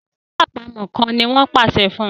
So àlọ́ àpamọ̀ kán!ní wón pàṣẹ fún